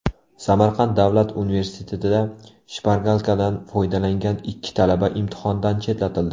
Samarqand davlat universitetida shpargalkadan foydalangan ikki talaba imtihondan chetlatildi.